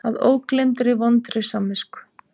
Að ógleymdri vondri samvisku.